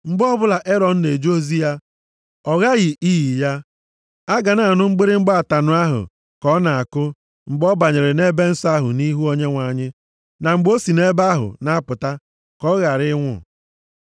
Mgbe ọbụla Erọn na-eje ozi ya, ọ ghaghị iyi ya. Aga na anụ mgbịrịgba ataṅụ ahụ ka ọ na-akụ, mgbe ọ banyere nʼEbe Nsọ ahụ nʼihu Onyenwe anyị, na mgbe o si nʼebe ahụ na-apụta, ka ọ ghara ịnwụ.